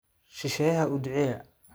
Shisheeyaha u duceeya.